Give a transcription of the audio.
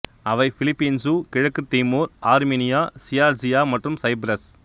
அவை பிலிப்பீன்சு கிழக்குத் Timor Armenia Georgia மற்றும் சைப்பிரஸ்